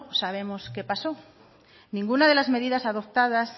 sabemos qué pasó ninguna de las medidas adoptadas